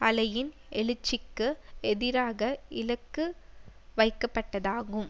அலையின் எழுச்சிக்கு எதிராக இலக்கு வைக்கப்பட்டதாகும்